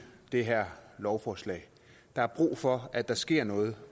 det her lovforslag der er brug for at der sker noget